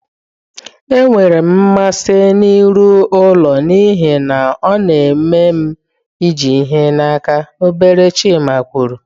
Enwere m mmasị n'ịrụ ụlọ n'ihi na ọ na-eme m iji ihe n'aka, obere Chima kwuru.